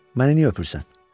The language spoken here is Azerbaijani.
Məni niyə öpürsən?